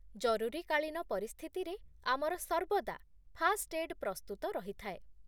ଜରୁରୀକାଳୀନ ପରିସ୍ଥିତିରେ ଆମର ସର୍ବଦା ଫାଷ୍ଟ୍ଏଡ୍ ପ୍ରସ୍ତୁତ ରହିଥାଏ